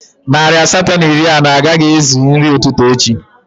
Narị asatọ na iri anọ na anọ agaghị ezu nri ụtụtụ echi